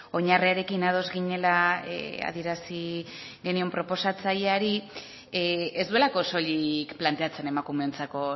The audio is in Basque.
oinarriarekin ados ginela adierazi genion proposatzaileari ez duelako soilik planteatzen emakumeentzako